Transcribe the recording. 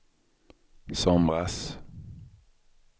somras